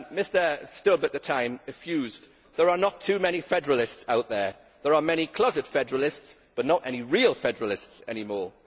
Mr Stubb at the time effused There are not too many Federalists out there. There are many closet Federalists, but not any real Federalists any more'.